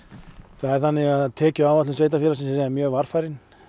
það er þannig að tekjuáætlun sveitarfélagsins er mjög varfærin